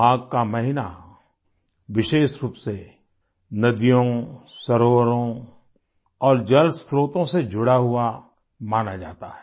माघ का महीना विशेष रूप से नदियों सरोवरों और जलस्त्रोतों से जुड़ा हुआ माना जाता है